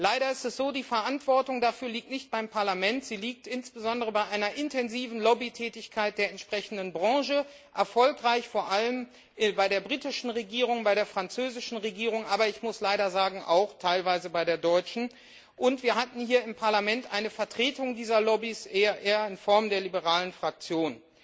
Leider ist es so Die Verantwortung dafür liegt nicht beim Parlament, sie liegt insbesondere bei einer intensiven Lobbytätigkeit der entsprechenden Branche, erfolgreich vor allem bei der britischen Regierung, bei der französischen Regierung, aber ich muss leider sagen, auch teilweise bei der deutschen, und wir hatten hier im Parlament eine Vertretung dieser Lobbys in Form der liberalen Fraktion.